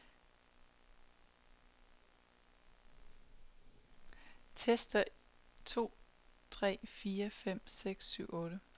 Tester en to tre fire fem seks syv otte.